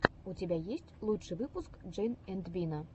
у тебя есть лучший выпуск джей энд бина